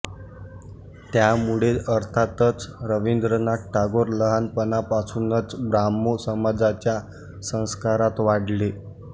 त्यामुळे अर्थातच रवींद्रनाथ टागोर लहानपणापासूनच ब्राह्मो समाजाच्या संस्कारात वाढले